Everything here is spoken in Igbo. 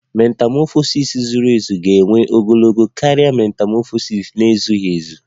Metamọfọsis zuru ezu ga-ewe ogologo oge karịa metamọfọsis na-ezughị ezu